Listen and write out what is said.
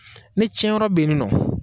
Ne tiɲɛ yɔrɔ bɛ nin nɔ.